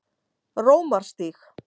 Rómarstíg